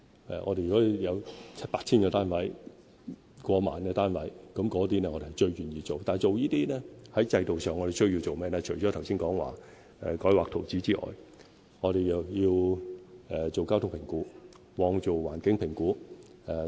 如果有 7,000、8,000 或超過1萬個單位的建屋計劃，我們最願意去做，但做這些工作的同時，制度上除了需要我剛才說的改劃圖則之外，我們還要進行交通評估、環境評估等。